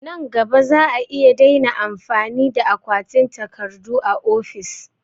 Nan gaba za'a iya daina amfani da akwatin takardu a ofis